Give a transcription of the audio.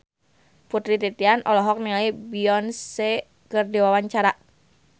Putri Titian olohok ningali Beyonce keur diwawancara